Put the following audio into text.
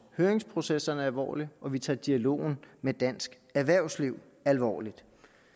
høringsprocessen alvorligt og vi tager dialogen med dansk erhvervsliv alvorligt